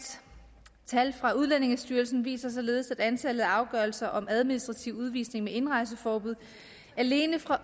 tal fra udlændingestyrelsen viser således at antallet af afgørelser om administrativ udvisning med indrejseforbud alene fra